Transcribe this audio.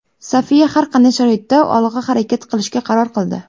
Sofiya har qanday sharoitda olg‘a harakat qilishga qaror qildi.